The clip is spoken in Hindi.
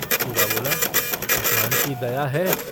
हीरा बोला - भगवान की दया है।